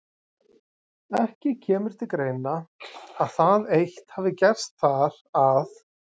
Ekki kemur til greina, að það eitt hafi gerst þar, að